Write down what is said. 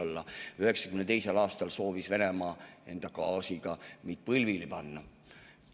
1992. aastal soovis Venemaa enda gaasiga meid põlvili panna.